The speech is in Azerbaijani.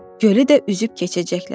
Gölü də üzüb keçəcəklər.